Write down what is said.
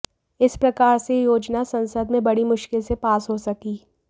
इस प्रकार से यह योजना संसद में बड़ी मुश्किल से पास हो सकी